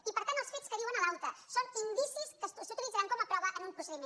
i per tant els fets que diu en l’aute són in·dicis que s’utilitzaran com a prova en un procediment